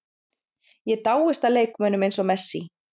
Ég dáist að leikmönnum eins og Messi.